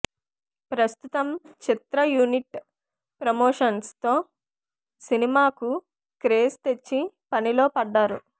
ప్రస్తుతం చిత్ర unit promotions తో సినిమా కు క్రేజ్ తెచ్చి పనిలో పడ్డారు